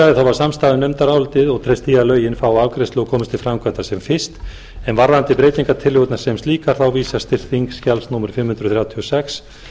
samstaða um nefndarálitið og treyst því að lögin fái afgreiðslu og komist til framkvæmda sem fyrst en varðandi breytingartillögurnar sem slíkar vísast til þingskjali númer fimm hundruð þrjátíu og sex